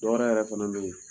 Dɔ wɛrɛ yɛrɛ fana be yen